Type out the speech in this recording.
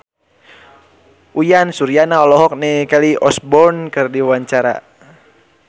Uyan Suryana olohok ningali Kelly Osbourne keur diwawancara